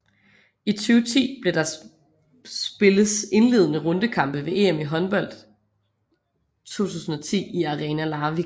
I 2010 blev der spilles indledende rundekampe ved EM i håndbold 2010 i Arena Larvik